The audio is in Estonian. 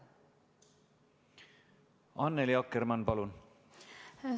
Annely Akkermann, palun!